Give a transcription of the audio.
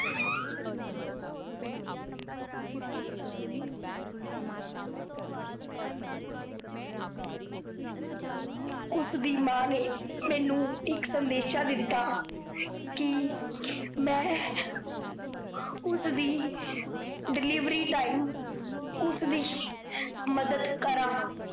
ਉਸ ਦੀ ਮਾਂ ਨੇ ਮੈਨੂੰ ਇੱਕ ਸੰਦੇਸ਼ਾਂ ਦਿੱਤਾ, ਕੀ ਮੈ ਉਸਦੀ delivery time ਉਸਦੀ ਮੱਦਦ ਕਰਾਂ।